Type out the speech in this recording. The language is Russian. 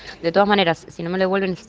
для дома